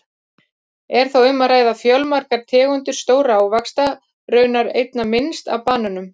Er þá um að ræða fjölmargar tegundir stórra ávaxta, raunar einna minnst af banönum!